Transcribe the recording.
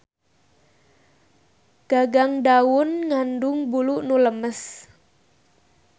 Gagang daun ngandung bulu nu lemes.